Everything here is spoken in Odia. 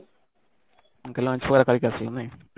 ତାହେଲେ lunch ପୁରା ଖାଇକି ଆସିଲା ନାଇଁ